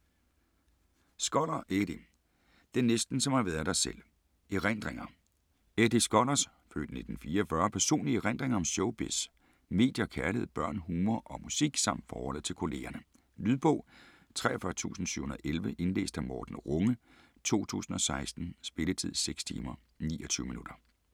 Skoller, Eddie: Det er næsten som at ha' været der selv: erindringer Eddie Skollers (f. 1944) personlige erindringer om showbiz, medier, kærlighed, børn, humor og musik samt forholdet til kollegerne. Lydbog 43711 Indlæst af Morten Runge, 2016. Spilletid: 6 timer, 29 minutter.